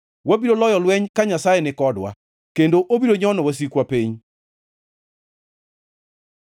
Wabiro loyo lweny ka Nyasaye nikodwa, kendo obiro nyono wasikwa piny.